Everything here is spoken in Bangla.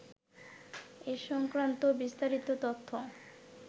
এ সংক্রান্ত বিস্তারিত তথ্য